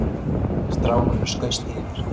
Strákurinn skaust yfir